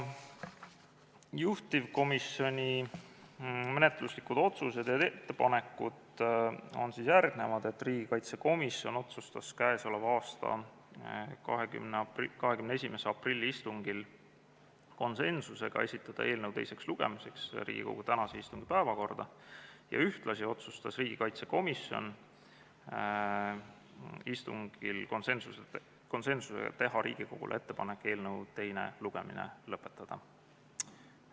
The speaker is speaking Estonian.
Juhtivkomisjoni menetluslikud otsused ja ettepanekud on järgmised: riigikaitsekomisjon otsustas k.a 21. aprilli istungil konsensuslikult esitada eelnõu teiseks lugemiseks Riigikogu tänase istungi päevakorda ja ühtlasi otsustas riigikaitsekomisjon konsensuslikult teha Riigikogule ettepaneku eelnõu teine lugemine lõpetada.